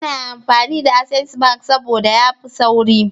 Ina amfani da access bank sabda yafi sauri